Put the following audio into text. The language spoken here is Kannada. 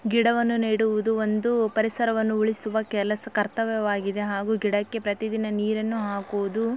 ಗಿಡವನು ನೆಡುವುದು ಒಂದು ಪರಿಸರವನ್ನು ಉಳಿಸುವ ಕೆಲಸ ಕರ್ತವ್ಯವಾಗಿದೆ ಹಾಗು ಗಿಡಕೆ ಪ್ರತಿದಿನ ನೀರನ್ನು ಹಾಕುವುದು --